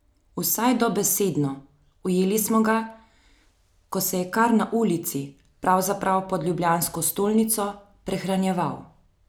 Vsaj dobesedno, ujeli smo ga, ko se je kar na ulici, pravzaprav pod ljubljansko stolnico, prehranjeval.